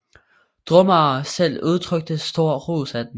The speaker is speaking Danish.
Drumare selv udtrykte stor ros af den